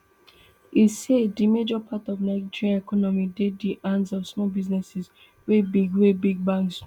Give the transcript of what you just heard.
e say di major part of um nigeria economy dey di hands of small businesses wey big wey big banks no